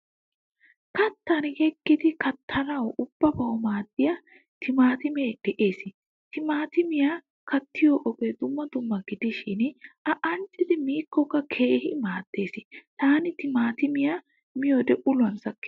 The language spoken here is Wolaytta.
Kattan yeegidi kaatanawu ubbabawu maaddiyaa timatime de'ees. Timatimiyaa kaattiyo ogee dumma dumma gidishin a anccid mikkokka keehin maaddees. Tana timatimayaa miyode uluwaa sakkees.